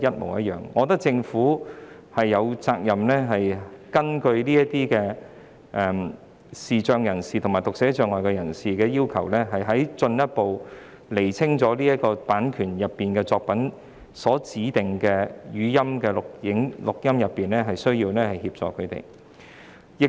我認為政府有責任按視障及讀寫障礙人士的需要，進一步釐清版權作品所涵蓋的語音形式作品，以便向他們提供所需的協助。